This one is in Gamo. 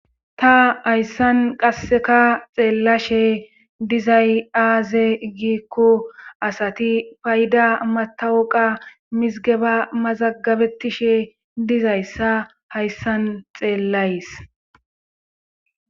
Ta hayssan qasseka xeellashe dizay aaze giikku asati payda matawoqa mizgeba mazagabettishe dizayssa hayssan xeellays.